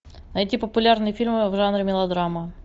найти популярные фильмы в жанре мелодрама